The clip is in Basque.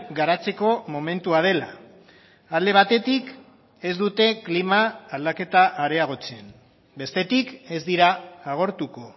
garatzeko momentua dela alde batetik ez dute klima aldaketa areagotzen bestetik ez dira agortuko